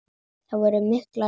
Það voru mikil átök.